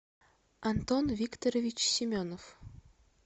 антон викторович семенов